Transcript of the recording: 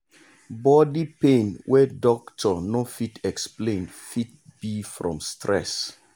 body pain wey doctor no fit explain fit be from stress.